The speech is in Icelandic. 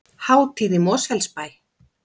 Hátíð í Mosfellsbæ